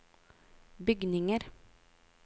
bygninger